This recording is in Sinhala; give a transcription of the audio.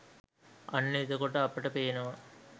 අන්න එතකොට අපට පේනවා